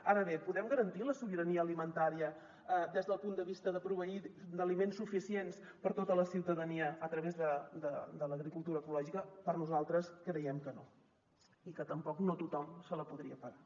ara bé podem garantir la sobirania alimentària des del punt de vista de proveir d’aliments suficients per a tota la ciutadania a través de l’agricultura ecològica nosaltres creiem que no i que tampoc no tothom se la podria pagar